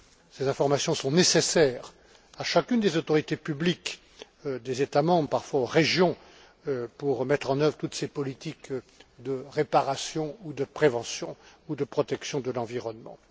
Ces informations sont nécessaires à chacune des autorités publiques des États membres, parfois aux régions, pour mettre en œuvre toutes ces politiques de réparation, de prévention ou de protection de l'environnement.